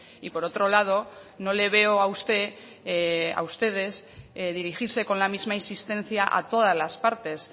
y por otro lado no le veo a usted a ustedes dirigirse con la misma insistencia a todas las partes